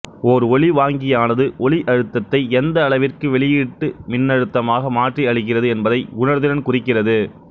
ஓர் ஒலிவாங்கியானது ஒலி அழுத்தத்தை எந்தளவிற்கு வெளியீட்டு மின்னழுத்தமாக மாற்றி அளிக்கிறது என்பதை உணர்திறன் குறிக்கிறது